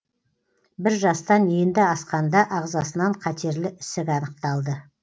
бір жастан енді асқанда ағзасынан қатерлі ісік анықталды